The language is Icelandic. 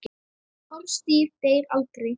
Orðstír deyr aldrei.